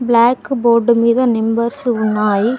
Black board మీద numbers ఉన్నాయి.